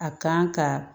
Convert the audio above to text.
A kan ka